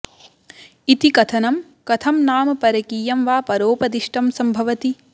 इति कथनं कथं नाम परकीयं वा परोपदिष्टं सम्भवति